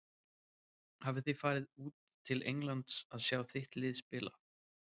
Hafið þið farið út til Englands að sjá þitt lið spila?